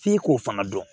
F'i k'o fana dɔn